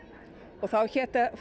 og þá hét